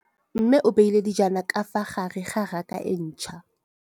Mmê o beile dijana ka fa gare ga raka e ntšha.